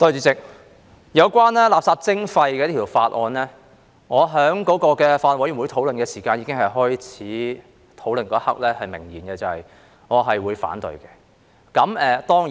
主席，有關垃圾徵費的法案，我在法案委員會開始討論的一刻已明言我會反對。